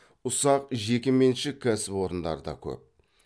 ұсақ жекеменшік кәсіпорындар да көп